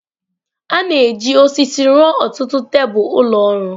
A na-eji osisi rụọ ọtụtụ tebụl ụlọ ọrụ.